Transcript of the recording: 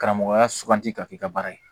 Karamɔgɔya suganti ka k'i ka baara ye